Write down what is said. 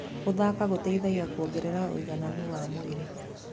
Gũthaka gũteithagia kuongerera ũigananu wa mwĩrĩ.